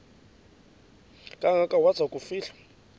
kangaka waza kufihlwa